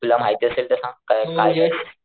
तुला माहित असेल तर सांग काय.